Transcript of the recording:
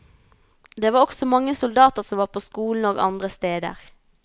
Det var også mange soldater som var på skolen og andre steder.